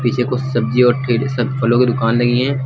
ये कुछ सब्जी और ठेल सब फलों की दुकान लगी हैं।